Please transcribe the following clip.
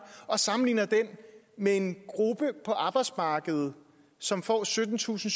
og sammenligner den med en gruppe på arbejdsmarkedet som får syttentusinde